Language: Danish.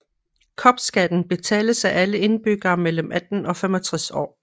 Kopskatten betales af alle indbyggere mellem 18 og 65 år